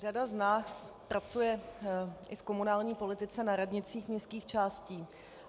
Řada z nás pracuje i v komunální politice na radnicích městských částí.